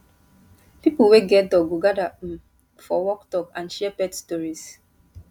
people wey get dog go gather um for walk talk and share pet stories